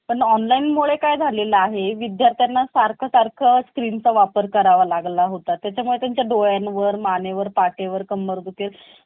अशी job चं requirement send करा मला त्याला.